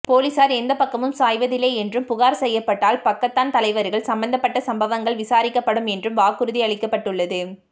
போலீசார் எந்தப் பக்கமும் சாய்வதில்லை என்றும் புகார் செய்யப்பட்டால் பக்காத்தான் தலைவர்கள் சம்பந்தப்பட்ட சம்பவங்கள் விசாரிக்கப்படும் என்றும் வாக்குறுதி அளிக்கப்பட்டுள்ளது